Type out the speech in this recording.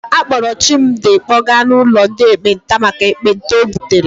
A kpọọrọ Chimdi kpọga n'ụlọ ndị ekpenta maka ekpenta o butere.